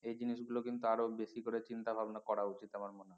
এই জিনিসগুলো কিন্তু আরো বেশি করে চিন্তা ভাবনা করা উচিত আমার মনে হয়